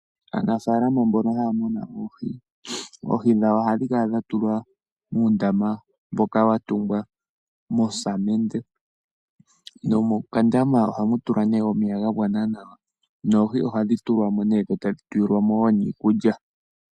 Aanafaalama mbono haya munu oohi, oohi dhwawo oha dhikala dhatulwa muundama mboka watungwa mosamende nomokandama oha mukalwa omeya gagwana nawa noohi ohadhi tulwamo nee dho tadhi tulilwamo woo niikulya.